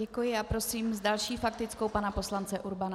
Děkuji a prosím s další faktickou pana poslance Urbana.